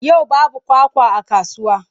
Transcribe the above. Yau babu kwakwa a kasuwa.